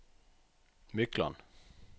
Mykland